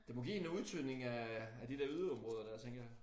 Det må give en udtynding af af de der yderområder dér tænker jeg